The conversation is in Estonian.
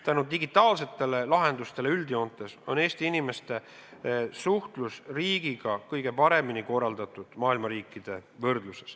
Tänu digitaalsetele lahendustele on Eesti inimeste suhtlus riigiga üldjoontes maailma riikide võrdluses kõige paremini korraldatud.